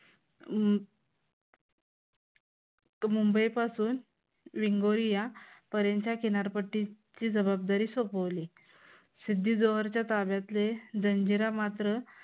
अं मुंबई पासून विंगोरी या किनारपट्टीची जबाबदारी सोपवली. सिद्धी जोहरच्या ताब्यातले जंजिरा मात्र